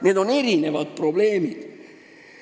Need on erinevad probleemid.